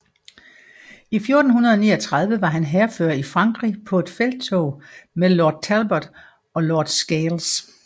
I 1439 var han hærfører i Frankrig på et felttog med Lord Talbot og Lord Scales